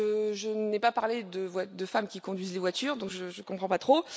Je n'ai pas parlé de femmes qui conduisent des voitures, donc je ne comprends pas trop.